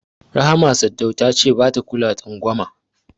Rahama Sadau ta ce bata kula twangwama.